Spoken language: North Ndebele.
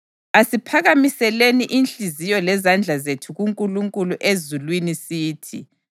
Asiphakamiseleni inhliziyo lezandla zethu kuNkulunkulu ezulwini sithi: